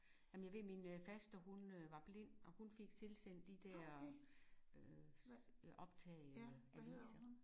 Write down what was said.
Jamen jeg ved min øh faster hun øh var blind og hun fik tilsendt de der øh optag af aviser